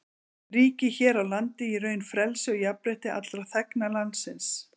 Ríkir hér á landi í raun frelsi og jafnrétti allra þegna landsins.